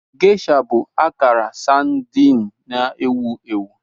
Geisha bụ akara sardine na-ewu ewu.